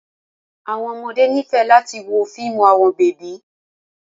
Awọn ọmọde nifẹ lati wo fiimu awọn bebi